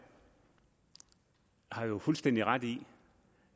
har jo fuldstændig ret i